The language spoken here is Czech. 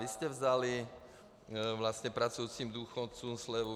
Vy jste vzali vlastně pracujícím důchodcům slevu.